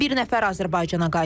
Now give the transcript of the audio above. Bir nəfər Azərbaycana qayıdıb.